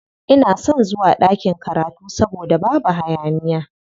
Ina son zuwa ɗakin karatu saboda babu hayaniya.